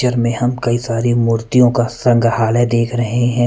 में हम कई सारी मूर्तियों का संग्रहालय देख रहे हैं ।